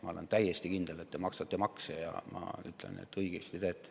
Ma olen täiesti kindel, et te maksate makse, ja ütlen, et õigesti teete.